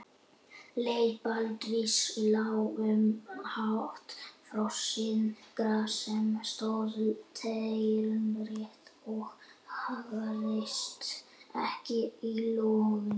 Leið Baldvins lá um hátt frosið gras sem stóð teinrétt og haggaðist ekki í logninu.